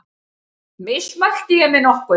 Mismælti ég mig nokkuð?